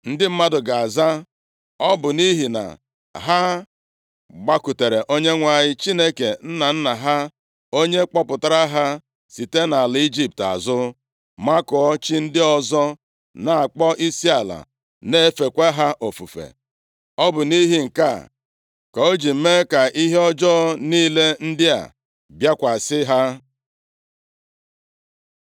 Ndị mmadụ ga-aza, ‘Ọ bụ nʼihi na ha gbakụtara Onyenwe anyị, Chineke nna nna ha, onye kpọpụtara ha site nʼala Ijipt azụ, makụọ chi ndị ọzọ, na-akpọ isiala na-efekwa ha ofufe. Ọ bụ nʼihi nke a ka O ji mee ka ihe ọjọọ niile ndị a bịakwasị ha.’ ”